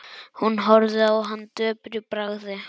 Hún horfði á hann döpur í bragði.